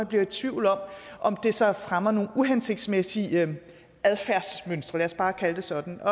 bliver i tvivl om om det så fremmer nogle uhensigtsmæssige adfærdsmønstre lad os bare kalde det sådan